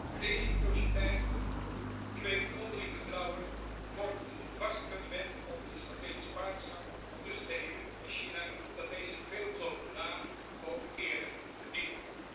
Wederkerigheid kweekt onderling vertrouwen en vormt een vast fundament onder een strategisch partnerschap tussen de EU en China dat deze veelbelovende naam ook eerlijk verdient.